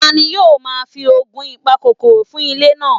Tani yoo ma fi oogun ipakokoro fun ile naa?